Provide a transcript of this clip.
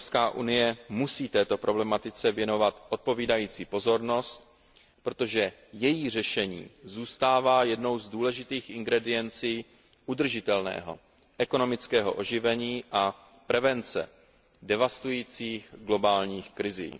EU musí této problematice věnovat odpovídající pozornost, protože její řešení zůstává jednou z důležitých ingrediencí udržitelného ekonomického oživení a prevence devastujících globálních krizí.